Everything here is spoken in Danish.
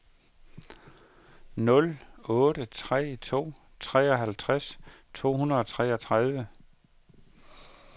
nul otte tre to treoghalvtreds to hundrede og toogtredive